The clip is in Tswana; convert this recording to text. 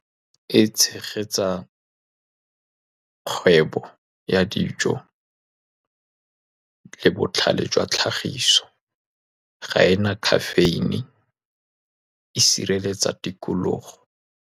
E tshegetsa kgwebo ya dijo, le botlhale jwa tlhagiso ga e na caffeine, e sireletsa tikologo.